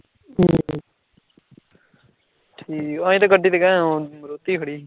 ਅਸੀਂ ਤੇ ਗੱਡੀ ਤੇ ਗਏ ਆ ਹੁਣ ਮਾਰੂਤੀ ਖੜੀ